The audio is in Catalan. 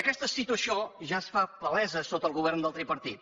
aquesta situació ja es fa palesa sota el govern del tripartit